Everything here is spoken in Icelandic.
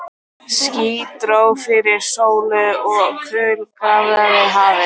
Ský dró fyrir sólu og kul gáraði hafið.